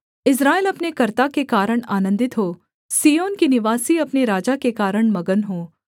इस्राएल अपने कर्ता के कारण आनन्दित हो सिय्योन के निवासी अपने राजा के कारण मगन हों